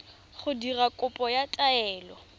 go dira kopo ya taelo